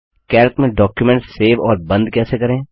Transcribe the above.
Calc में document save और बंद कैसे करें